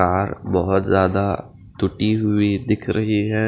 तार बहोत ज्यादा टूटी हुई दिख रही है।